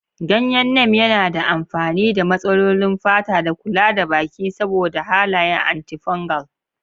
Ganyen Neem yana da amfani ga matsalolin fata da kula da baki saboda halayen antifungal.